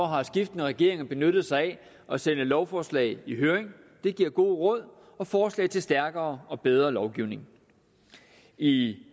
har skiftende regeringer benyttet sig af at sende lovforslag i høring det giver gode råd og forslag til stærkere og bedre lovgivning i